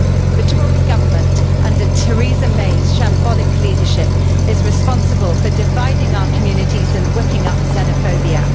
The Tory Government, under Theresa May's shambolic leadership, is responsible for dividing our communities and whipping up xenophobia.